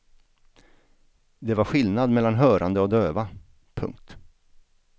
Det var skillnad mellan hörande och döva. punkt